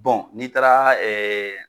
Bɔn n'i taara ɛɛ